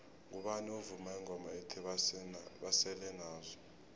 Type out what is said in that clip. ngubani ovuma ingoma ethi basele nazo